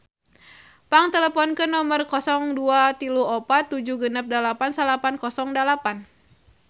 Pang teleponkeun nomer 0234 768908